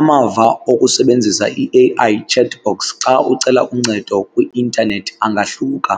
Amava okusebenzisa i-A_I chat box xa ucela uncedo kwi-intanethi angahluka.